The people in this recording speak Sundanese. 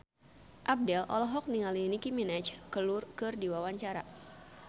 Abdel olohok ningali Nicky Minaj keur diwawancara